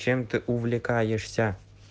чем ты увлекаешься